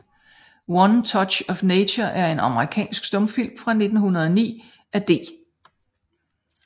One Touch of Nature er en amerikansk stumfilm fra 1909 af D